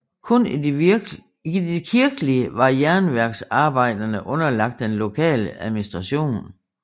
Kun i det kirkelige var jernværksarbejderne underlagte den lokale administration